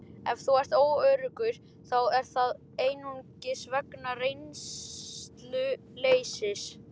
Ef þú ert óöruggur þá er það einungis vegna reynsluleysis.